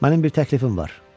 Mənim bir təklifim var.